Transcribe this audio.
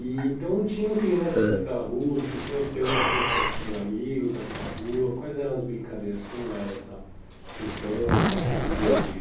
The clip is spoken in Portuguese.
E então, tinham crianças naquela rua, você tinha uma teve uma infância com amigos naquela rua, quais eram as brincadeiras, como era essa infância, esse dia-a-dia?